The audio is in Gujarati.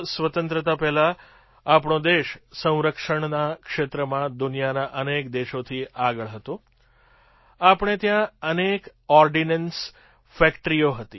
સ્વતંત્રતા પહેલાં આપણો દેશ સંરક્ષણના ક્ષેત્રમાં દુનિયાના અનેક દેશોથી આગળ હતો આપણે ત્યાં અનેક ઑર્ડિનન્સ ફૅક્ટરીઓ હતી